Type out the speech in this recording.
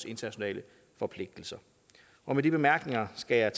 internationale forpligtelser med de bemærkninger skal jeg